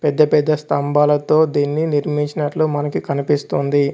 పెద్ద పెద్ద స్తంభాలతో దీన్ని నిర్మించినట్లు మనకి కనిపిస్తోంది.